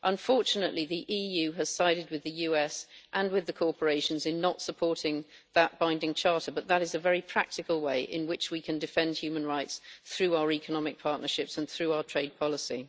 Unfortunately, the EU has sided with the USA and with the corporations in not supporting that binding charter, but that is a very practical way in which we can defend human rights through our economic partnerships and through our trade policy.